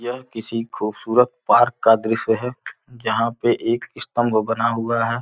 किसी खूबसूरत पार्क का दृश्य है जहां पे एक स्तंभ बना हुआ है।